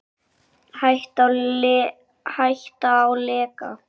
Hætta á leka?